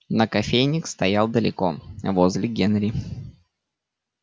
но кофейник стоял далеко возле генри